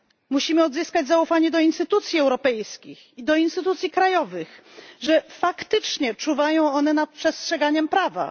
Musimy odzyskać zaufanie do instytucji europejskich i do instytucji krajowych, że faktycznie czuwają one nad przestrzeganiem prawa.